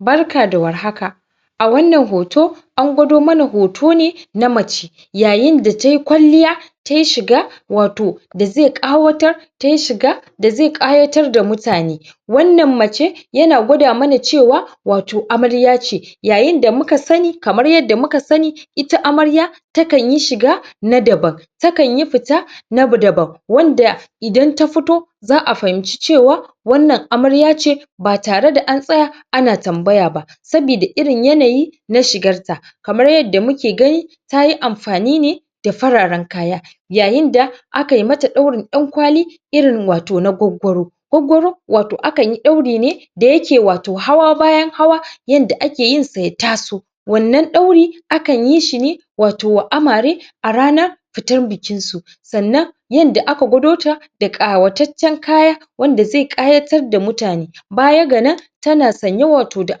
barka da war haka a wannan hoto angwado mana hoto ne na mace yayin da tayi kwalliya tayi shiga wato da zai ƙawatar da zai tayi shiga da zai ƙayatar da mutane wannan mace yana gwada mana cewa wato amarya ce yayin da muka sani ,kamar yanda muka sani ita amarya takanyi shiga na daban takanyi fita wadda idan idan ta fito xa a fahimci cewa wannan amarya ce ba tare da antsaya ana tambaya ba saboda irin yanayin na shigarta kamar yanda muke gani tayi amfani ne da fararan kaya yayin da akayi mata daurin dankwali irin wato na gwaggwaro gwaggwaro wato akanyi dauri ne da yake wato hawa bayan hawa yanda ake yinsa ya taso wannan daurin akan yin shine wato wa amare a ranar fitar bikinsu, sannan yanda aka gwadota da ƙawatatcan kaya wanda zai kayatar da mutane baya ga nan tana sanye da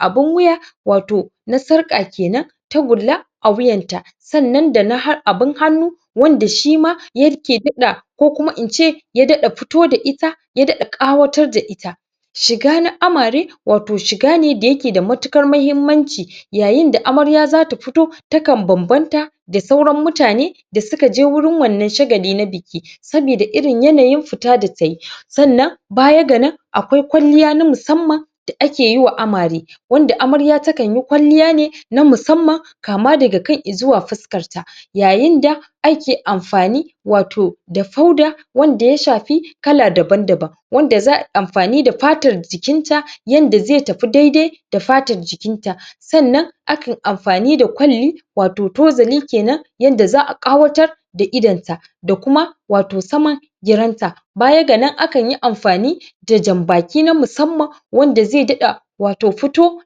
abun wuya wato na sarka kenan tagolla a wuyanta sannan da na har abun hannu wanda shima yake daɗa ko kuma ince ya daɗa fito da ita ya daɗa ƙawatar da ita shiga na amare wato shiga ne d yake da matukar mahimmanci yayin da amarya xata fito takan bambanta da sauran mutane da sukaje gurin wannan shagali na biki saboda irin yanayin fita da tayi sannan baya ganan akwai kwalliya ta musamman da ake yiwa amare wadda amarya takanyi kwalliya ne ta musamman kama daga kai zuwa fuskarta yayin da ake amfani wato da fauda wanda ya shafi kala daban daban wadda za ayi amfani da fatar jikinta wanda zai tafi daidai da fatar jikinta sannan akan amfani d kwalli wato tozali kenan yanda za a ƙawatar da idanta da kuma wato saman girarta baya ga nan akanyi amfani da jan baki na musamman wanda zai daɗa wato fito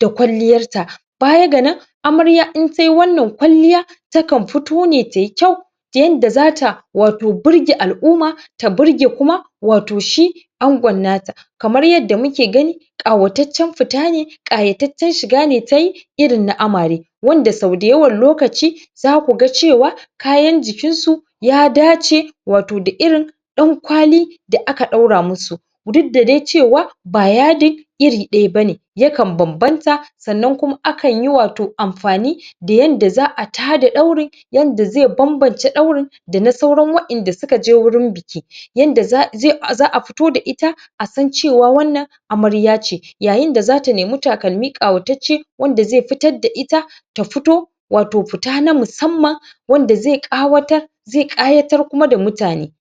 da kwaliyarta baya ga nan amarya intai wannan kwalliya takan fito ne tayi kyau da yanda zata wato birge al'uma ta birge kuma wato shi angon nata kamar yanda muke gani ƙawatatcan fita ne ɗɗ ƙayatatcan shigane tayi irin na amare wanda sau da yawan lokaci zaku ga cewa kayan jikinsu ya dace wato da dankwali da aka daura musu duk da dai cewa ba yadin iri daya bane yakan banbanta sannan kuma akanyi wato amfani da yanda za a tada ɗaurin babbance yanda zai banbance ɗaurin dana sauran wa inda suka je gurin biki yanda xa a fito da ita a san cewa wannan amarya ce, yayin da zata nemi takalmi ƙayatatce wanda zai fitar da ita ta fito wato fita ta musamman wanda zai ƙawatar wanda zai ƙawatar zai ƙayatar da kuma mutane